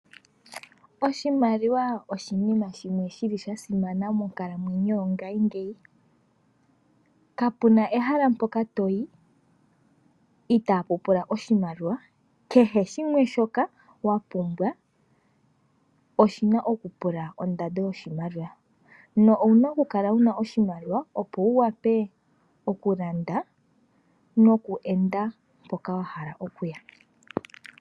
Oshimaliwa oshinima shimwe shi li sha simana monkalamweyo yo ngashingeyi. Kapuna ehala mpoka toyi, itapu pula oshimaliwa. kehe shimwe shoka wa pumbwa oshina okupula ondando yoshimaliwa, na owuna okukala wuna oshimaliwa opo wu wape okulanda, noku enda mpoka wa hala okuya.